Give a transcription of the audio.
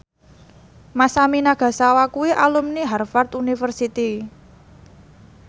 Masami Nagasawa kuwi alumni Harvard university